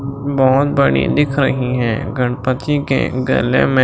बहुत बड़ी दिख रही है गणपति के गले में--